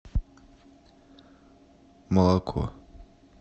молоко